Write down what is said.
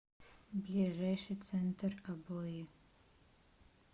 ближайший центр обои